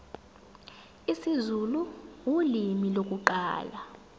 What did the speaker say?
isizulu ulimi lokuqala